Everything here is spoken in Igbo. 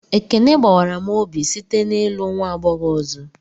Ekene gbawara m obi site n'ịlụ nwa agbọghọ ọzọ